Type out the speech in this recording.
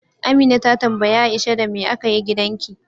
Amina ta tambayi Aisha, Da me aka yi gidanki?